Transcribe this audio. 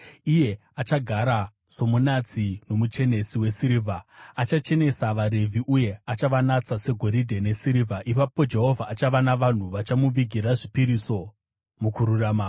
Iye achagara somunatsi nomuchenesi wesirivha; achachenesa vaRevhi uye achavanatsa segoridhe nesirivha. Ipapo Jehovha achava navanhu vachamuvigira zvipiriso mukururama,